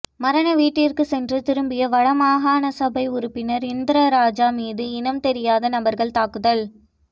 மரண வீட்டிற்கு சென்று திரும்பிய வடமாகாணசபை உறுப்பினர் இந்திரராஜா மீது இனம் தெரியாத நபர்கள் தாக்குதல்